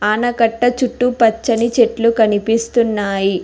ఆనకట్ట చుట్టూ పచ్చని చెట్లు కనిపిస్తున్నాయి.